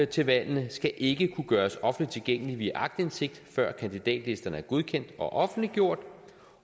til valgene skal ikke kunne gøres offentligt tilgængelige via aktindsigt før kandidatlisterne er godkendt og offentliggjort